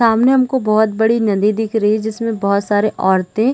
सामने हमको बहुत बड़ी नदी दिख रही है जिसमे बहुत सारे औरते--